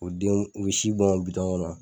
O denw u ye si bɔn kɔnɔ